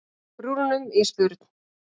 brúnunum í spurn.